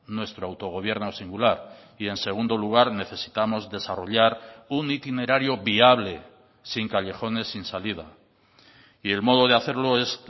nuestro autogobierno singular y en segundo lugar necesitamos desarrollar un itinerario viable sin callejones sin salida y el modo de hacerlo es